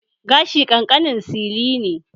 Gashi ƙanƙanin sili ne